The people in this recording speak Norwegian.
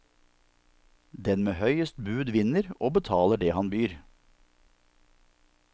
Den med høyest bud vinner og betaler det han byr.